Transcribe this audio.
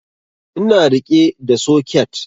Ina riƙe da soket